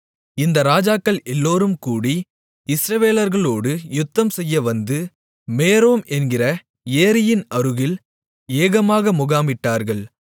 இந்த ராஜாக்கள் எல்லோரும் கூடி இஸ்ரவேலர்களோடு யுத்தம்செய்ய வந்து மேரோம் என்கிற ஏரியின் அருகில் ஏகமாக முகாமிட்டார்கள்